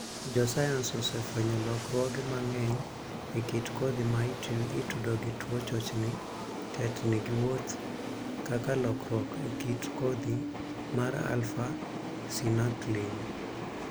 Jo sayans osefwenyo lokruoge mang'eny e kit kodhi ma itudo gi tuo chochni (tetni) gi wuoth, kaka lokruok e kit kodhi mar 'alpha synuclein'.